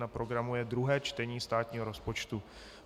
Na programu je druhé čtení státního rozpočtu.